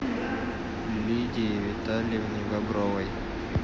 лидии витальевне бобровой